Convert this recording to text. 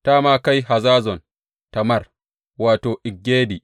Ta ma kai Hazazon Tamar wato, En Gedi.